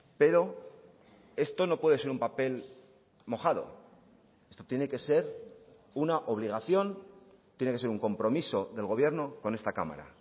pero esto no puede ser un papel mojado esto tiene que ser una obligación tiene que ser un compromiso del gobierno con esta cámara